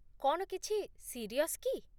କ'ଣ କିଛି ସିରିଅସ୍ କି?